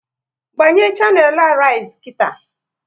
Gbanye shanelu Arise nkịta!